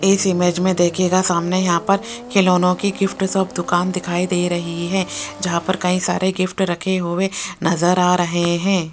इस इमेज में देखिएगा सामने यहां पर खिलौने की गिफ्ट शॉप दुकान दिखाई दे रही है जहां पर कई सारे गिफ्ट रखे हुए नजर आ रहे हैं।